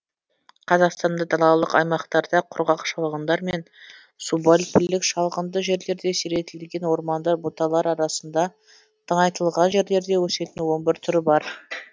қазақстанда далалық аймақтарда құрғақ шалғындар мен субальпілік шалғынды жерлерде сиретілген ормандар бұталар арасында тыңайтылған жерлерде өсетін он бір түрі бар